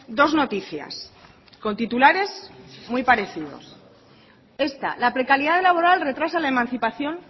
dos noticias con titulares muy parecidos esta la precariedad laboral retrasa la emancipación